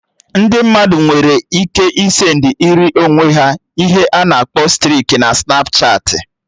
Ndị mmadụ nwere ike ị send ịrị onwe ha ihe a na-akpọ striki na Snapchatị